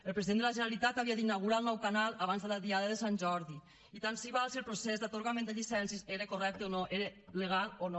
el president de la generalitat havia d’inaugurar el nou canal abans de la diada de sant jordi i tant se val si el procés d’atorgament de llicències era correcte era legal o no